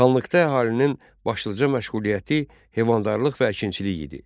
Xanlıqda əhalinin başlıca məşğuliyyəti heyvandarlıq və əkinçilik idi.